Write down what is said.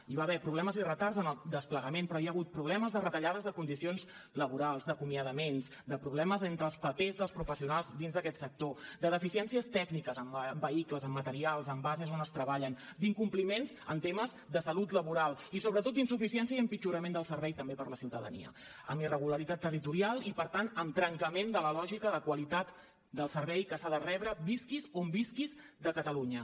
hi va haver problemes i retards en el desplegament però hi ha hagut problemes de retallades de condicions laborals d’acomiadaments de problemes entre els papers dels professionals dins d’aquest sector de deficiències tècniques amb vehicles amb materials amb bases on es treballen d’incompliments en temes de salut laboral i sobretot d’insuficiència i empitjorament del servei també per a la ciutadania amb irregularitat territorial i per tant amb trencament de la lògica de qualitat del servei que s’ha de rebre visquis on visquis de catalunya